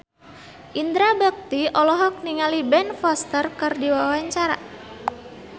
Indra Bekti olohok ningali Ben Foster keur diwawancara